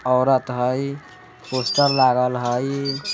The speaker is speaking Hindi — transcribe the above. औरत हाय पोस्टर लागल हाय।